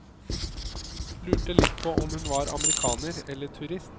Lurte litt på om hun var amerikaner eller turist.